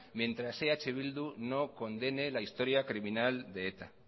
mientras que eh bildu no condene la historia criminal de eta